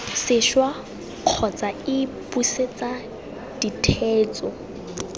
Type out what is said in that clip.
sešwa kgotsa iii busetsa ditheetso